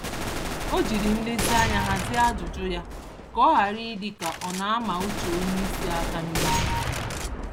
Ọ jiri nlezianya hazie ajụjụ ya, ka ọ hàrà ịdị ka ọ nama uche onyeisi àkà n'ihu